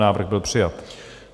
Návrh byl přijat.